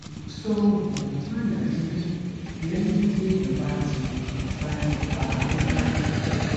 so ogun fun aya didun leyin ti eyyan ba ti ba ti fa hookah